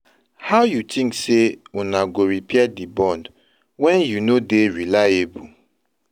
How you tink sey una go repair di bond wen you no dey reliable?